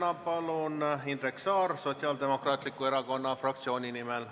Järgmisena Indrek Saar Sotsiaaldemokraatliku Erakonna fraktsiooni nimel.